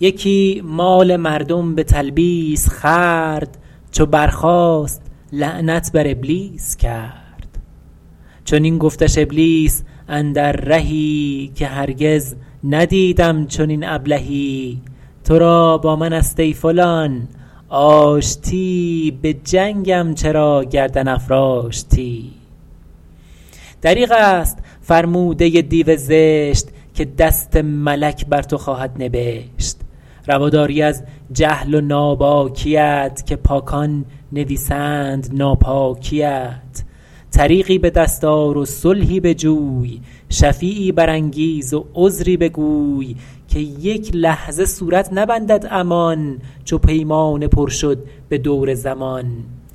یکی مال مردم به تلبیس خورد چو برخاست لعنت بر ابلیس کرد چنین گفتش ابلیس اندر رهی که هرگز ندیدم چنین ابلهی تو را با من است ای فلان آشتی به جنگم چرا گردن افراشتی دریغ است فرموده دیو زشت که دست ملک بر تو خواهد نبشت روا داری از جهل و ناباکیت که پاکان نویسند ناپاکیت طریقی به دست آر و صلحی بجوی شفیعی برانگیز و عذری بگوی که یک لحظه صورت نبندد امان چو پیمانه پر شد به دور زمان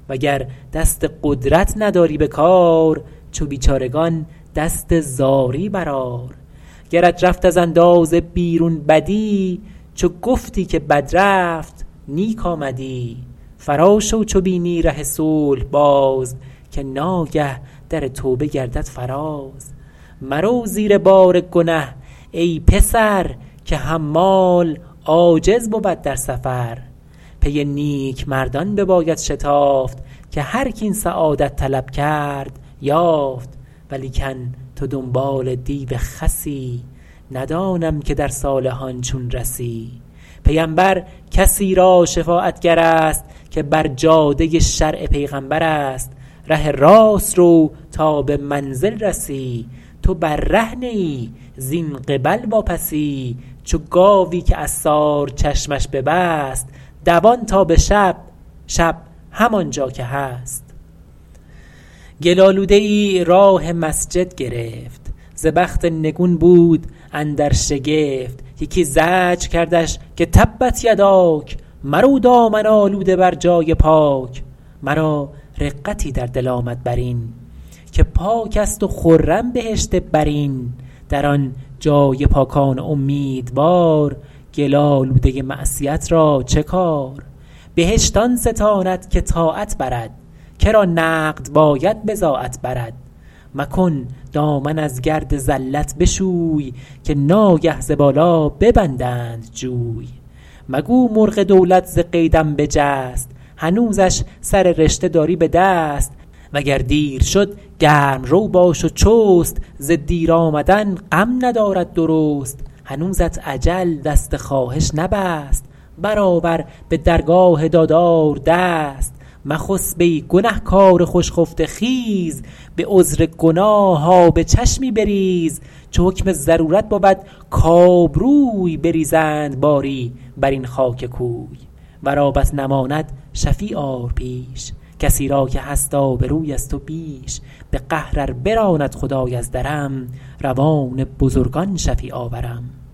وگر دست قدرت نداری به کار چو بیچارگان دست زاری بر آر گرت رفت از اندازه بیرون بدی چو گفتی که بد رفت نیک آمدی فرا شو چو بینی ره صلح باز که ناگه در توبه گردد فراز مرو زیر بار گنه ای پسر که حمال عاجز بود در سفر پی نیک مردان بباید شتافت که هر کاین سعادت طلب کرد یافت ولیکن تو دنبال دیو خسی ندانم که در صالحان چون رسی پیمبر کسی را شفاعتگر است که بر جاده شرع پیغمبر است ره راست رو تا به منزل رسی تو بر ره نه ای زین قبل واپسی چو گاوی که عصار چشمش ببست دوان تا به شب شب همانجا که هست گل آلوده ای راه مسجد گرفت ز بخت نگون بود اندر شگفت یکی زجر کردش که تبت یداک مرو دامن آلوده بر جای پاک مرا رقتی در دل آمد بر این که پاک است و خرم بهشت برین در آن جای پاکان امیدوار گل آلوده معصیت را چه کار بهشت آن ستاند که طاعت برد کرا نقد باید بضاعت برد مکن دامن از گرد زلت بشوی که ناگه ز بالا ببندند جوی مگو مرغ دولت ز قیدم بجست هنوزش سر رشته داری به دست وگر دیر شد گرم رو باش و چست ز دیر آمدن غم ندارد درست هنوزت اجل دست خواهش نبست بر آور به درگاه دادار دست مخسب ای گنه کار خوش خفته خیز به عذر گناه آب چشمی بریز چو حکم ضرورت بود کآبروی بریزند باری بر این خاک کوی ور آبت نماند شفیع آر پیش کسی را که هست آبروی از تو بیش به قهر ار براند خدای از درم روان بزرگان شفیع آورم